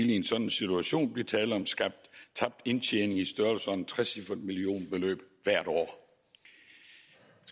i en sådan situation blive tale om tabt indtjening i størrelsesordenen tre cifret millionbeløb hvert år jeg